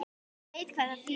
Ég veit hvað það þýðir.